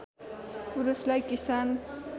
पुरूषलाई किसान